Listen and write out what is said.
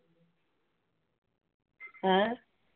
ਹੈਂਅ।